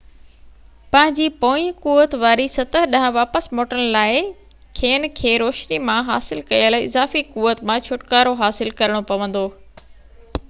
پنهنجي پوئين قوت واري سطح ڏانهن واپس موٽڻ لاءِ کين کي روشني مان حاصل ڪيل اضافي قوت مان ڇوٽڪارو حاصل ڪرڻو پوندو